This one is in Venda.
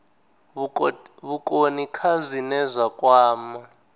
vhukoni kha zwine zwa kwama